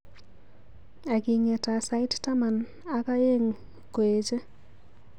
Agingeta sait taman ak eng ngoeche